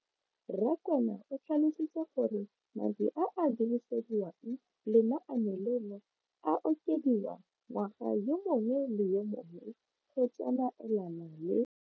Rakwena o tlhalositse gore madi a a dirisediwang lenaane leno a okediwa ngwaga yo mongwe le yo mongwe go tsamaelana le.